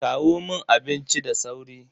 Kawo mun abinci da sauri.